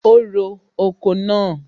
O ro oko náà.